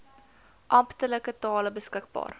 amptelike tale beskikbaar